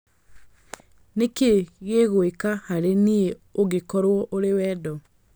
Nĩ kĩĩ gĩguĩka harĩ niĩ ũngĩkorũo ũrĩ wendo